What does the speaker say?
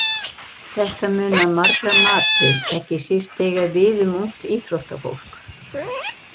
Þetta mun að margra mati ekki síst eiga við um ungt íþróttafólk.